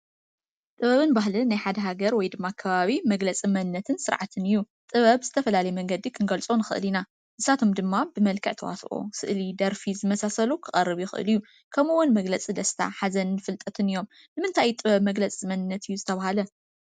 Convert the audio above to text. ጥበብን ባህልን ናይ ሓደ ሃገር ወይ ድማ ከባቢ መግለፂ መንነትን ስርዓትን እዩ፡፡ ጥበብ ብዝተፈላለየ መንገዲ ክንገልፆ ንኽእል ኢና፡፡ ንሳቶም ድማ ብመልክዕ ተዋስኦ፣ ስእሊ፣ ደርፊ ዝመሳሰሉ ክቐርብ ይኽእል እዩ፡፡ ከምኡውን መግለፂ ደስታ፣ ሓዘንን ፍልጠትን እዮም፡፡ ንምንታይ እዩ ጥበብ መግለፂ መንነት እዩ ዝተባህለ?